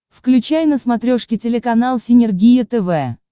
включай на смотрешке телеканал синергия тв